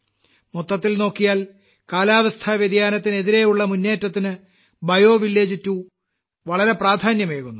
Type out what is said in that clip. മൊത്തത്തിൽ നോക്കിയാൽ കാലാവസ്ഥാ വ്യതിയാനത്തിനെതിരെയുള്ള മുന്നേറ്റത്തിന് ബയോ വില്ലേജ് 2 വളരെ പ്രാധാന്യമേകുന്നു